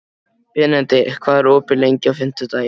Benedikt, hvað er opið lengi á fimmtudaginn?